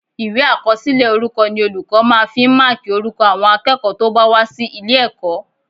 Ìwé àkọsílẹ̀ orúkọ ni olùkọ́ máa fi ń máàkì orúkọ àwọn akẹ́kọ̀ọ́ tó bá wá sí ilé-ẹ̀kọ́